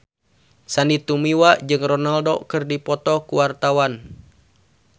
Sandy Tumiwa jeung Ronaldo keur dipoto ku wartawan